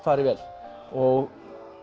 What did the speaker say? fari vel og